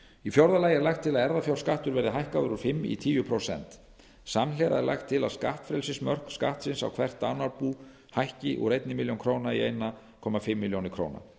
í fjórða lagi er lagt til að erfðafjárskattur verði hækkaður úr fimm prósent í tíu prósent samhliða er lagt til að skattfrelsismörk skattsins á hvert dánarbú hækki úr einni milljón króna í eins og hálfa milljón króna